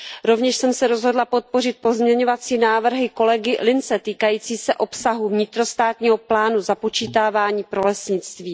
Rovněž jsem se rozhodla podpořit pozměňovací návrhy kolegy Linse týkající se obsahu vnitrostátního plánu započítávání pro lesnictví.